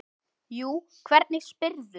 Jú, hvernig spyrðu.